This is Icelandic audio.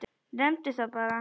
Nefndu það bara.